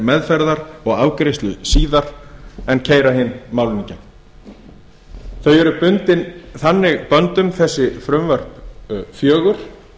meðferðar og afgreiðslu síðar en keyra hin málin í gegn þau eru bundin þannig böndum þessi frumvörp fjögur